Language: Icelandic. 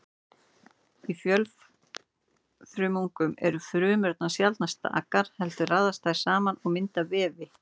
Í fjölfrumungum eru frumurnar sjaldnast stakar heldur raðast þær saman og mynda vefi.